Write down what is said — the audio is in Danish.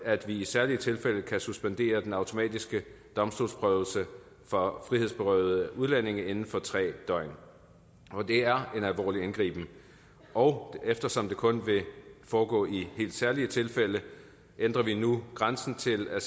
at vi i særlige tilfælde kan suspendere den automatiske domstolsprøvelse for frihedsberøvede udlændinge inden for tre døgn det er en alvorlig indgriben og eftersom det kun vil foregå i helt særlige tilfælde ændrer vi nu grænsen til at